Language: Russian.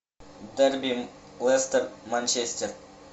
дерби лестер манчестер